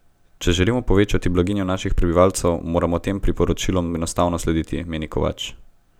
Če želimo povečati blaginjo naših prebivalcev, moramo tem priporočilom enostavno slediti, meni Kovač.